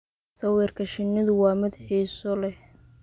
Sawirka shinnidu waa mid xiiso leh.